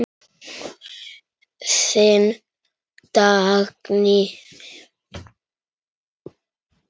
Þín Dagný.